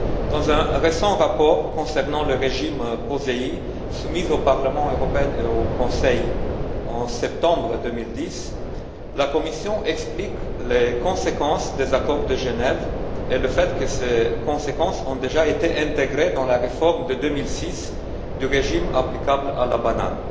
Dans un récent rapport concernant le régime POSEI, soumis au Parlement européen et au Conseil en septembre 2010, la Commission explique les conséquences des accords de Genève et le fait que ces conséquences ont déjà été intégrées dans la réforme de 2006 du régime applicable à la banane.